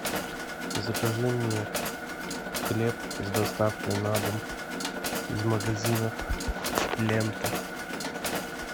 закажи мне хлеб с доставкой на дом из магазина лента